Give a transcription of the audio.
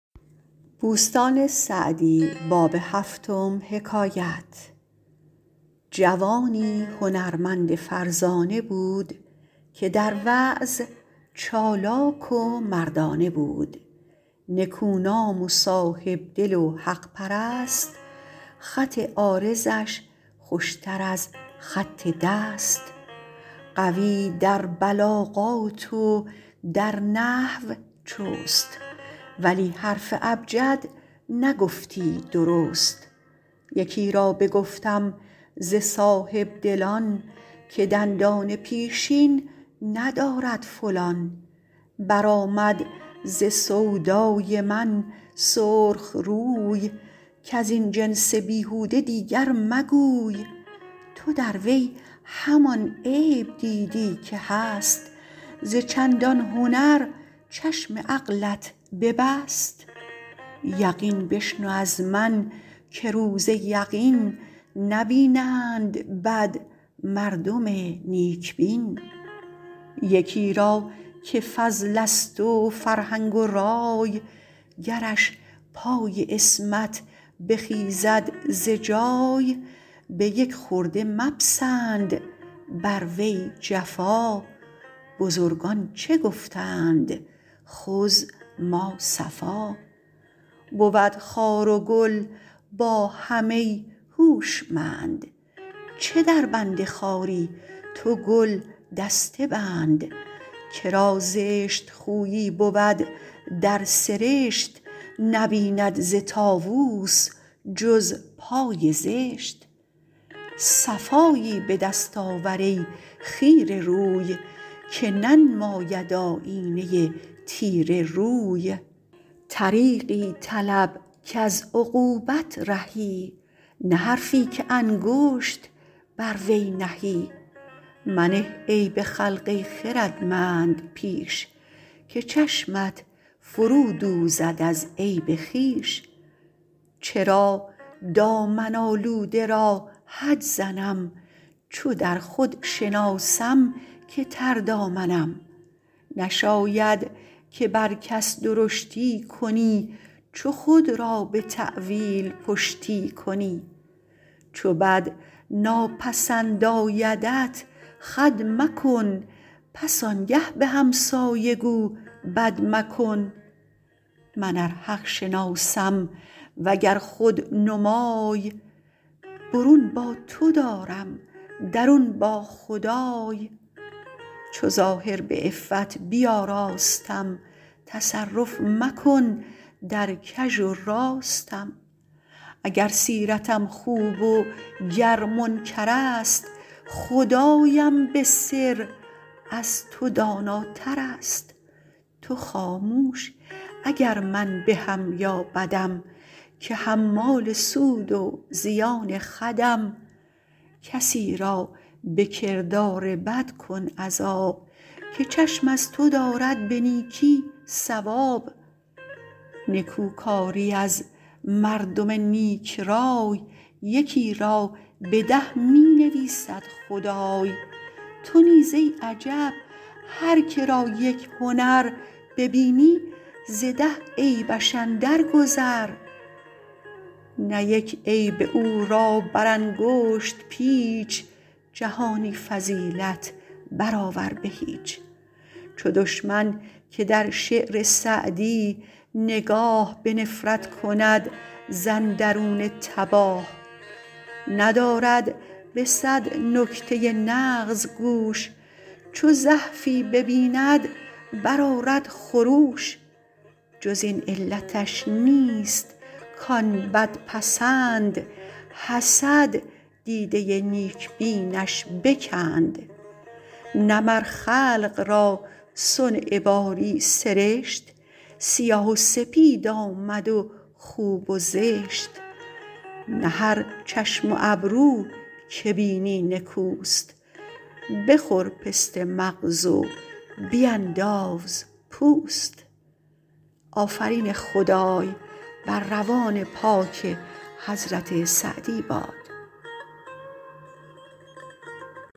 جوانی هنرمند فرزانه بود که در وعظ چالاک و مردانه بود نکونام و صاحبدل و حق پرست خط عارضش خوشتر از خط دست قوی در بلاغات و در نحو چست ولی حرف ابجد نگفتی درست یکی را بگفتم ز صاحبدلان که دندان پیشین ندارد فلان برآمد ز سودای من سرخ روی کز این جنس بیهوده دیگر مگوی تو در وی همان عیب دیدی که هست ز چندان هنر چشم عقلت ببست یقین بشنو از من که روز یقین نبینند بد مردم نیک بین یکی را که فضل است و فرهنگ و رای گرش پای عصمت بخیزد ز جای به یک خرده مپسند بر وی جفا بزرگان چه گفتند خذ ما صفا بود خار و گل با هم ای هوشمند چه در بند خاری تو گل دسته بند که را زشت خویی بود در سرشت نبیند ز طاووس جز پای زشت صفایی به دست آور ای خیره روی که ننماید آیینه تیره روی طریقی طلب کز عقوبت رهی نه حرفی که انگشت بر وی نهی منه عیب خلق ای خردمند پیش که چشمت فرو دوزد از عیب خویش چرا دامن آلوده را حد زنم چو در خود شناسم که تر دامنم نشاید که بر کس درشتی کنی چو خود را به تأویل پشتی کنی چو بد ناپسند آیدت خود مکن پس آنگه به همسایه گو بد مکن من ار حق شناسم وگر خود نمای برون با تو دارم درون با خدای چو ظاهر به عفت بیاراستم تصرف مکن در کژ و راستم اگر سیرتم خوب و گر منکر است خدایم به سر از تو داناتر است تو خاموش اگر من بهم یا بدم که حمال سود و زیان خودم کسی را به کردار بد کن عذاب که چشم از تو دارد به نیکی ثواب نکو کاری از مردم نیک رای یکی را به ده می نویسد خدای تو نیز ای عجب هر که را یک هنر ببینی ز ده عیبش اندر گذر نه یک عیب او را بر انگشت پیچ جهانی فضیلت بر آور به هیچ چو دشمن که در شعر سعدی نگاه به نفرت کند ز اندرون تباه ندارد به صد نکته نغز گوش چو زحفی ببیند بر آرد خروش جز این علتش نیست کان بد پسند حسد دیده نیک بینش بکند نه مر خلق را صنع باری سرشت سیاه و سپید آمد و خوب و زشت نه هر چشم و ابرو که بینی نکوست بخور پسته مغز و بینداز پوست